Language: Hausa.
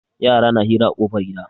Yara na hira a ƙofar gida.